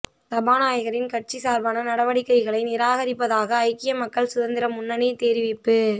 சபாநாயகரின் கட்சி சார்பான நடவடிக்கைகளை நிராகரிப்பதாக ஐக்கிய மக்கள் சுதந்திர முன்னணி தெரிவிப்பு